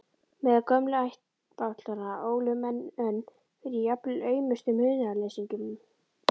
Meðal gömlu ættbálkanna ólu menn önn fyrir jafnvel aumustu munaðarleysingjum.